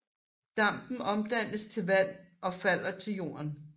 Dampen omdannes til vand og falder til jorden